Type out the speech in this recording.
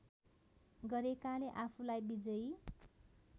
गरेकाले आफूलाई विजयी